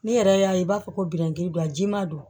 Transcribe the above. Ne yɛrɛ y'a ye i b'a fɔ ko biyɛndimi don a jima don